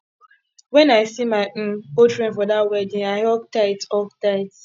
wen i see my um old friend for dat wedding i hug tight hug tight